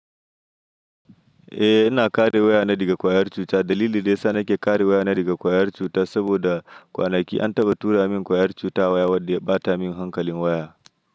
Eh, ina kare waya na daga ƙwayar cuta. Dalili dai sa nake kare waya na daga ƙwayar cuta saboda kwanaki an taɓa tura min ƙwayar cuta waya wadda ba ta min hankalin waya.